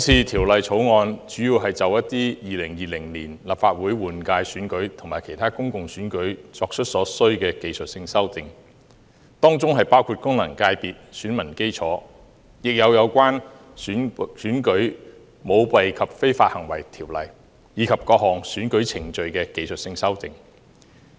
《條例草案》主要是就2020年立法會換屆選舉及其他公共選舉作出所需的技術性修訂，當中包括功能界別選民基礎，亦有關於《選舉條例》，以及各項選舉程序的技術性修訂。